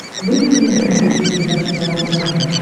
выведи мне на смотрешке передачу здоровое тв